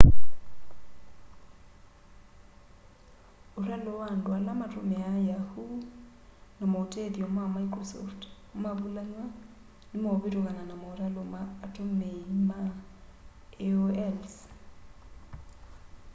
ũtalo wa andũ ala matũmĩaa yahoo na maũtethyo ma mĩcrosoft mavũlanwa nĩmeũvĩtũkana na maũtalo ma atũmĩĩma aol's